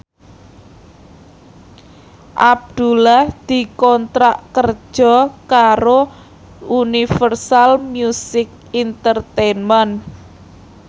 Abdullah dikontrak kerja karo Universal Music Entertainment